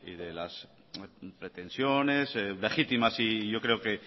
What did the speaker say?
de las pretensiones legítimas y yo creo que